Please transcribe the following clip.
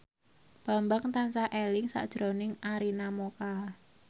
Bambang tansah eling sakjroning Arina Mocca